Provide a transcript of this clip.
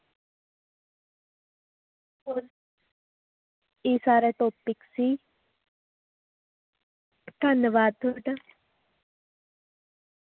ਇਹ ਸਾਰਾ topic ਸੀ ਧੰਨਵਾਦ ਤੁਹਾਡਾ